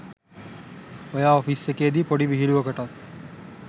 එයා ඔෆිස් එකේ දි පොඩි විහිළුවකටත්